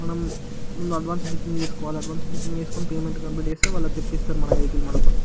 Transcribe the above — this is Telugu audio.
మనం అడ్వాన్సు బుకింగ్ పే చేయాలి మనం అడ్వాన్సు పే చేస్తే మనది బుక్ చేస్తారు.